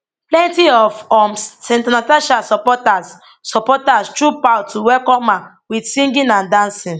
plenty of um senator natasha supporters supporters troop out to welcome her wit singing and dancing